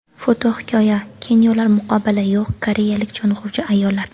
Fotohikoya: Xenyolar muqobili yo‘q koreyalik sho‘ng‘uvchi ayollar.